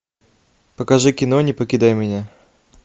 покажи кино не покидай меня